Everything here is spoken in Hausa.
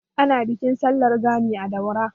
Ana Bikin sallar Gani a Daura.